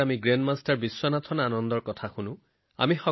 grandmaster Viswanathan Anand জীৰ কথা শুনো আহক